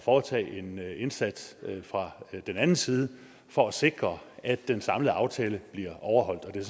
foretage en indsats fra den anden side for at sikre at den samlede aftale bliver overholdt det er